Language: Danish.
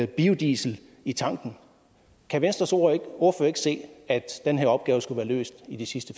biodiesel i tanken kan venstres ordfører ikke se at den her opgave skulle være løst i de sidste